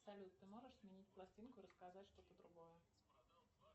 салют ты можешь сменить пластинку и рассказать что то другое